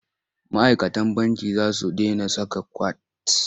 Ma'aikatan banki za su dena saka kwat.